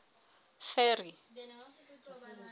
ferry